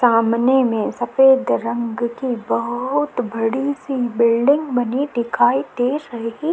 सामने में सफेद रंग की बहोत बड़ी सी बिल्डिंग बनी दिखाई दे रही --